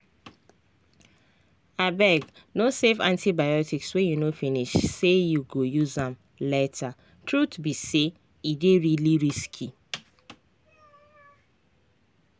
abegno save antibiotics wey you no finish say you go use am latertruth be say e dey really risky.